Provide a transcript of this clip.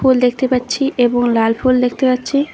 ফুল দেখতে পাচ্ছি এবং লাল ফুল দেখতে পাচ্ছি।